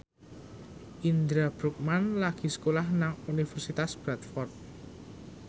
Indra Bruggman lagi sekolah nang Universitas Bradford